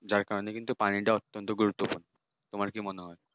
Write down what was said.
যার কারণে পানিটা কিন্তু অত্যন্ত গুরুত্বপূর্ণ তোমার কি মনে হয়